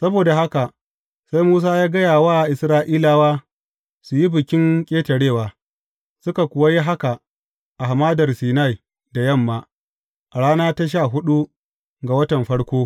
Saboda haka sai Musa ya gaya wa Isra’ilawa su yi Bikin Ƙetarewa, suka kuwa yi haka a Hamadar Sinai da yamma, a rana ta sha huɗu ga watan farko.